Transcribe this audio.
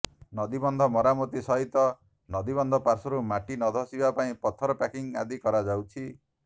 ନଦୀବନ୍ଧ ମରାମତି ସହିତ ନଦୀ ବନ୍ଧ ପାଶ୍ୱର୍ରୁ ମାଟି ନ ଧସିବା ପାଇଁ ପଥର ପ୍ୟାକିଙ୍ଗ ଆଦି କରାଯାଉଛି